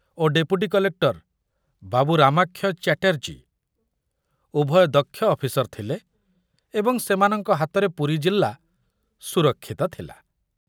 Lacey ଓ deputy collector ବାବୁ ରାମାକ୍ଷୟ ବ୍ୟାଟର୍ଜୀ ଉଭୟ ଦକ୍ଷ ଅଫିସର ଥିଲେ ଏବଂ ସେମାନଙ୍କ ହାତରେ ପୁରୀ ଜିଲ୍ଲା ସୁରକ୍ଷିତ ଥିଲା।